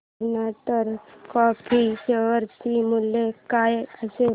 container corp share चे मूल्य काय असेल